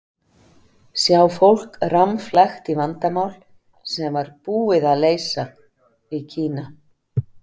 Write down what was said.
Sjá fólk rammflækt í vandamál sem var BÚIÐ AÐ LEYSA í Kína.